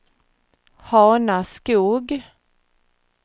Hanaskog